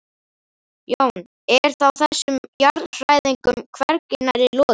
Jón: Er þá þessum jarðhræringum hvergi nærri lokið?